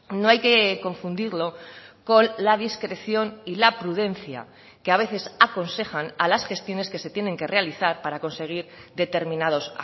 no hay que confundirlo con la discreción y la prudencia que a veces aconsejan a las gestiones que se tienen que realizar para conseguir determinados